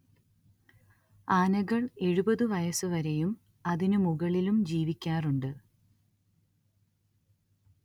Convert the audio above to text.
ആനകൾ എഴുപത് വയസ്സ് വരെയും അതിനു ‍മുകളിലും ജീവിക്കാറുണ്ട്